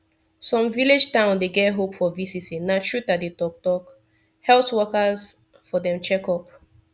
some village town dey get hope for visiting na truth i dey talk talk health workers for dem checkup